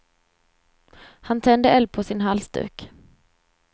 Han tände eld på sin halsduk.